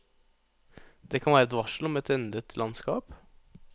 Det kan være et varsel om et endret landskap.